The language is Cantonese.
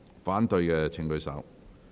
反對的請舉手。